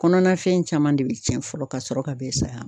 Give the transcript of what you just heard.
Kɔnɔna fɛn caman de bi cɛn fɔlɔ ka sɔrɔ ka bɛn san